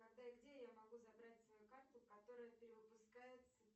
когда и где я могу забрать свою карту которая перевыпускается